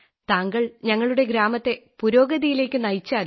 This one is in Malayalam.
താങ്കൾ ഞങ്ങളുടെ ഗ്രാമത്തെ പുരോഗതിയിലേക്കു നയിച്ചാലും